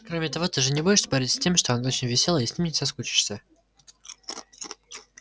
кроме того ты же не будешь спорить с тем что он очень весёлый и с ним не соскучишься